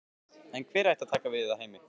En hver ætti að taka við af Heimi?